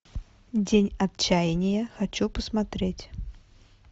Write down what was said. день отчаяния хочу посмотреть